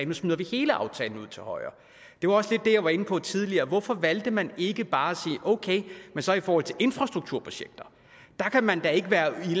nu smider vi hele aftalen ud til højre det var også det jeg var lidt inde på tidligere hvorfor valgte man ikke bare at sige okay men så i forhold til infrastrukturprojekter kan man da ikke være i